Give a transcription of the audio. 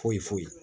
Foyi foyi